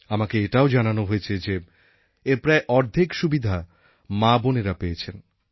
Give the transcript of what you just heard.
আমাকে এটাও জানানো হয়েছে যে এর প্রায় অর্ধেক সুবিধা মাবোনেরা পেয়েছেন